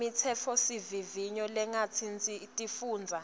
imitsetfosivivinyo lengatsintsi tifundza